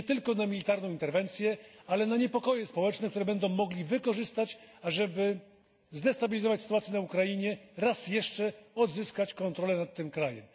Nie tylko na militarną interwencję, ale na niepokoje społeczne, które będą mogli wykorzystać, ażeby zdestabilizować sytuację na Ukrainie, raz jeszcze odzyskać kontrolę nad tym krajem.